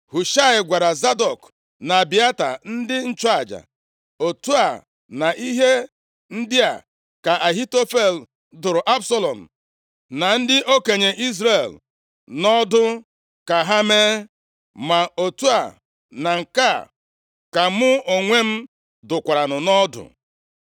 Hushaị gwara Zadọk na Abịata, ndị nchụaja, “Otu a na ihe ndị a ka Ahitofel dụrụ Absalọm na ndị okenye Izrel nʼọdụ ka ha mee, ma otu a na nke a ka mụ onwe dụkwaranụ nʼọdụ.